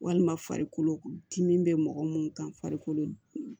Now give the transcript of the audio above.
Walima farikolo dimi bɛ mɔgɔ minnu kan farikolo